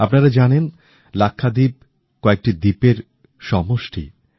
আপনারা জানেন লাক্ষাদ্বীপ কয়েকটি দ্বীপের সমূহ